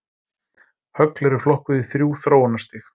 Högl eru flokkuð í þrjú þróunarstig.